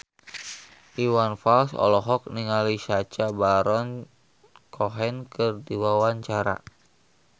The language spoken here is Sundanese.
Iwan Fals olohok ningali Sacha Baron Cohen keur diwawancara